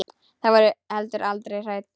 Þau voru heldur aldrei hrædd.